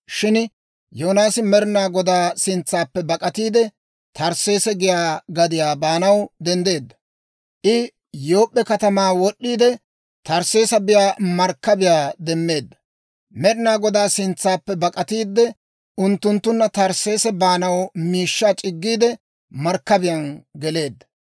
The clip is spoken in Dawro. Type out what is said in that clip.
Shin Yoonaasi Med'inaa Godaa sintsaappe bak'atiide, Tarsseese giyaa gadiyaa baanaw denddeedda; I Yoop'p'e katamaa wod'd'iide, Tarsseese biyaa markkabiyaa demmeedda. Med'inaa Godaa sintsaappe bak'atiide, unttunttuna Tarsseese baanaw miishshaa c'iggiide, markkabiyaan geleedda.